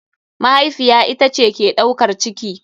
Mahaifiya ita ce ke ɗaukar ciki.